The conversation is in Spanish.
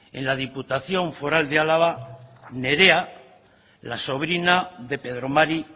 en la diputación foral de álava nerea la sobrina de pedro mari